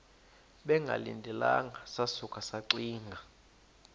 bengalindelanga sasuka saxinga